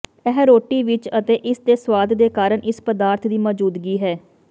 ਇਹ ਰੋਟੀ ਵਿੱਚ ਅਤੇ ਇਸ ਦੇ ਸੁਆਦ ਦੇ ਕਾਰਨ ਇਸ ਪਦਾਰਥ ਦੀ ਮੌਜੂਦਗੀ ਹੈ